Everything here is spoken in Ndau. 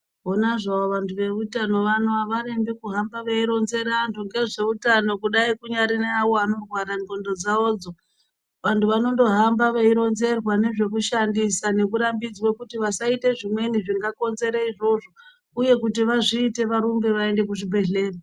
Ponazvo vantu vezvehutano avarembi kuhamba veironzera vantu ngezvehutano kudai kunawo avo vanorwara ngonxo dzawodzo vantu vanongohamba veironzerwa nezvekushandisa vachirambidzwa kuti vasaita zvimweni zvingakonzera izvozvo uye kuti vazviite varumbe vaende kuchibhedhlera.